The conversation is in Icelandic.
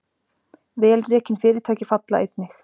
Vel rekin fyrirtæki falla einnig